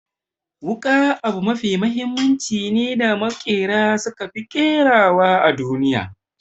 Wuƙa abu mafi mahimmanci ne da maƙera suka fi ƙerawa a duniya.